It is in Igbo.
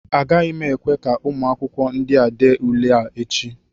Agaghị m ekwe ka ụmụ akwụkwọ ndịa dee ule a echi